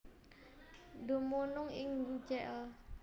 Dumunung ing jl